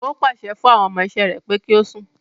Ó pàṣẹ fún àwọn ọmọ iṣẹ́ rẹ̀ pé kí o sùn.